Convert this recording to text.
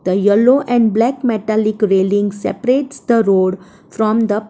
The yellow and black metalic railings seperates the road from the --